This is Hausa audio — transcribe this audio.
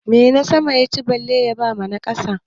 Menasama ya ci bale ya ba na ƙasa?